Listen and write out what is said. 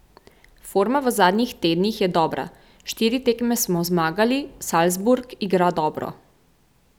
Forma v zadnjih tednih je dobra, štiri tekme smo zmagali, Salzburg igra dobro.